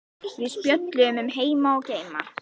Við spjölluðum um heima og geima.